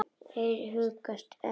Mér hugnast ekki veðrið.